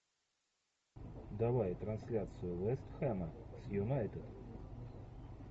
давай трансляцию вест хэма с юнайтед